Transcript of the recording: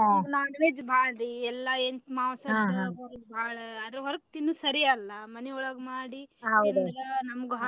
ಈಗ non veg ಬಾಳ್ರಿ ಎಲ್ಲಾ ಆದ್ರ ಹೊರಗ ತಿನ್ನದ ಸರಿ ಅಲ್ಲಾ ಮನಿಯೊಳಗ್ ಮಾಡಿ ತಿಂದ್ರ